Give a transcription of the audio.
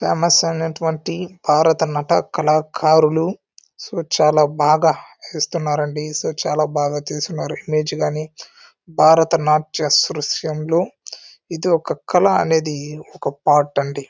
Famous అయినటువంటి భారత నట కళాకారులు సో చాలా బాగా ఇస్తున్నారండి సో చాలా బాగా చేసినారు ఇమేజ్ కానీ భారత నాట్య స్రుస్యంలో ఇది ఒక కళ అనేది ఒక పార్ట్ అండి.